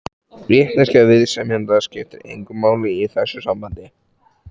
Vitneskja viðsemjenda skiptir engu máli í þessu sambandi.